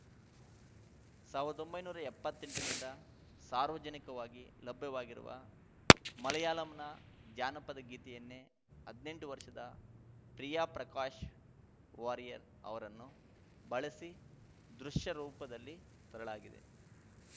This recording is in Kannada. ಸಾವಿರ್ದೊಂಬೈ ನೂರಾ ಎಪ್ಪತ್ತೆಂಟರಿಂದ ಸಾರ್ವಜನಿಕವಾಗಿ ಲಭ್ಯವಾಗಿರುವ ಮಲಯಾಳಂನ ಜಾನಪದ ಗೀತೆಯನ್ನೇ ಹದಿನೆಂಟು ವರ್ಷದ ಪ್ರಿಯಾ ಪ್ರಕಾಶ್‌ ವಾರಿಯರ್‌ ಅವರನ್ನು ಬಳಸಿ ದೃಶ್ಯರೂಪದಲ್ಲಿ ತರಲಾಗಿದೆ